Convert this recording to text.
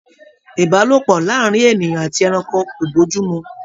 Ìbálòpọ̀ láàárín ènìyàn àti ẹranko kò bójú mu